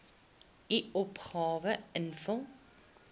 u opgawe invul